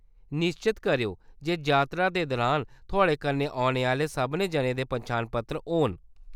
निश्चत करेओ जे जातरा दे दुरान थुआढ़े कन्नै औने आह्‌‌‌ले सभनें जनें दे पन्छान पत्तर होन।